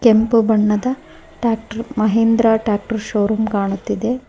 ಕೆಂಪು ಬಣ್ಣದ tractor Mahindra tractor showroom ಕಾಣುತ್ತಿದೆ.